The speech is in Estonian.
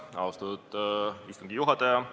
Austatud istungi juhataja!